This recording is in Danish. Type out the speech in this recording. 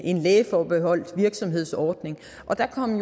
en lægeforbeholdt virksomhedsordning og der kom